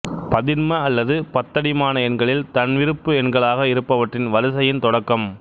பதின்ம அல்லது பத்தடிமான எண்களில் தன்விருப்பு எண்களாக இருப்பவற்றின் வரிசையின் தொடக்கம்